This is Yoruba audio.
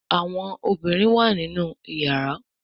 Àwọn ọmọbinrin wá nínú iyàrá.